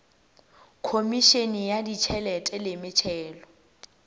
khomišene ya ditšhelete le metšhelo